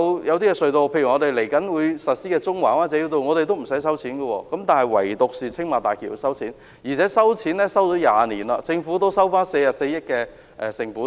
某些隧道或即將啟用的中環灣仔繞道也不收費，但唯獨青馬大橋要收費，並已收費20年，政府已收回44億元成本。